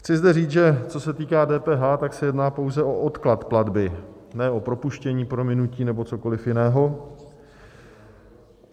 Chci zde říct, že co se týká DPH, tak se jedná pouze o odklad platby, ne o propuštění, prominutí nebo cokoli jiného.